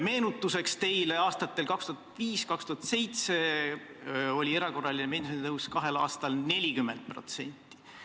Meenutuseks teile: aastatel 2005–2007 oli erakorraline pensionitõus kahel aastal 40%.